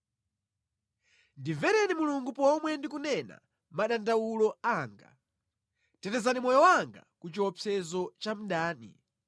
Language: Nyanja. Ndimvereni Mulungu pomwe ndikunena madandawulo anga; tetezani moyo wanga ku chiopsezo cha mdani.